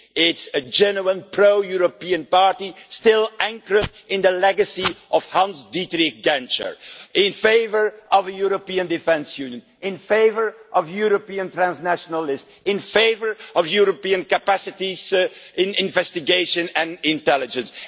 It is a genuine pro European party still anchored in the legacy of Hans-Dietrich Genscher, in favour of a European defence union, in favour of European transnationalism, and in favour of European capacities in investigation and intelligence.